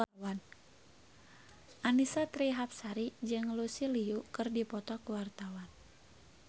Annisa Trihapsari jeung Lucy Liu keur dipoto ku wartawan